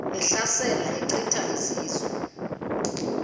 ehlasela echitha izizwe